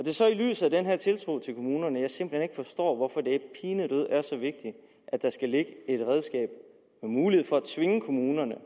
er så i lyset af den her tiltro til kommunerne at jeg simpelt hen ikke forstår hvorfor det pinedød er så vigtigt at der skal ligge et redskab med mulighed for at tvinge kommunerne